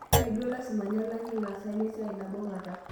Mee duo lasima nelaki laasak lesiai nabo kata